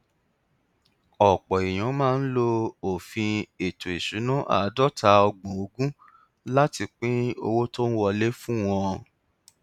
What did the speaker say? ọpọ èèyàn máa ń lo òfin ètò ìṣúná àádọtaọgbọnogún láti pín owó tó ń wọlé fún wọn